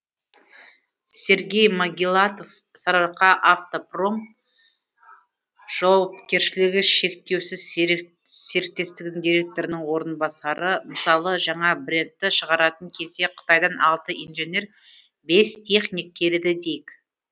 сергей могилатов сарыаркаавтопром жауапкешілігі шектеусіз серіктестігінің директорының орынбасары мысалы жаңа брендті шығаратын кезде қытайдан алты инженер бес техник келеді дейік